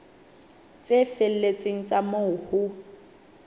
tse felletseng tsa moo ho